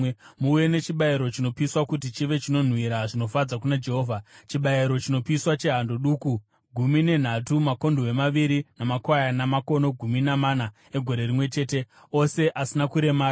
Muuye nechibayiro chinopiswa kuti chive chinonhuhwira zvinofadza kuna Jehovha, chibayiro chinopiswa chehando duku gumi nenhatu, makondobwe maviri namakwayana makono gumi namana egore rimwe chete, ose asina kuremara.